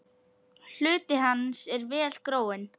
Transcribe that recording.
Hluti hans er vel gróinn.